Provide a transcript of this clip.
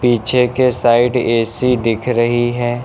पीछे के side AC दिख रही है।